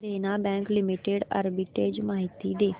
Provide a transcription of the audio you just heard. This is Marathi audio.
देना बँक लिमिटेड आर्बिट्रेज माहिती दे